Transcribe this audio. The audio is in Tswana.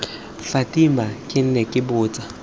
fatima ke ne ke botsa